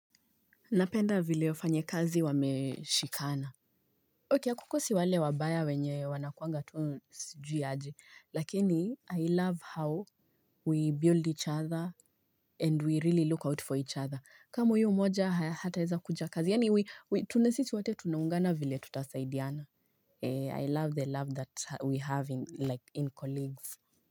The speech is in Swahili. Napenda vile wafanyekazi wameshikana Ok ya kukosi wale wabaya wenye wanakuanga tunu sijui aje lakini I love how We build each other and we really look out for each other kama hui umoja hata eza kuja kazi yani tunesiti wate tunungana vile tutasaidiana I love the love that we have like in colleagues.